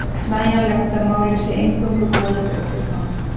nægjanlegt að málið sé eingöngu borið undir hann.